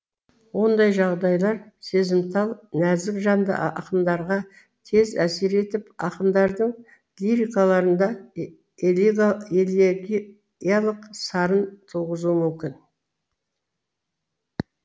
ондай жағдайлар сезімтал нәзік жанды ақындарға тез әсер етіп ақындардың лирикаларында элегиялық сарын туғызуы мүмкін